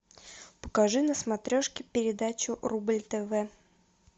покажи на смотрешке передачу рубль тв